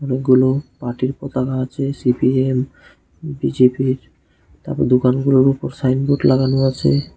অনেকগুলো পার্টির পতাকা আছে সি_পি_এম বি_জে_পি তারপর দোকানগুলোর ওপর সাইনবোর্ড লাগানো আছে।